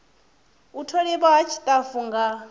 u tholiwa ha tshitafu tsha